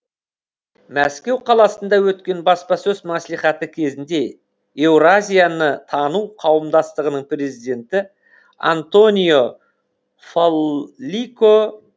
мәскеу қаласында өткен баспасөз маслихаты кезінде еуразияны тану қауымдастығының президенті антонио фаллико